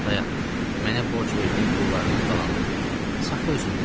Dayan, mənə borc verdiyin pullarının qalanını da götür, saxla özündə.